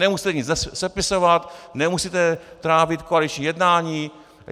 Nemusíte nic sepisovat, nemusíte trávit koaliční jednání...